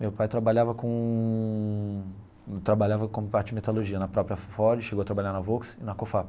Meu pai trabalhava com trabalhava com parte de metalurgia na própria Ford, chegou a trabalhar na Volks e na Cofap.